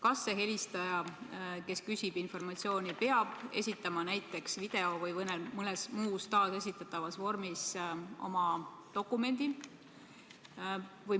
Kas see helistaja, kes küsib informatsiooni, peab esitama näiteks video või mõnes muus taasesitatavas vormis oma dokumendi?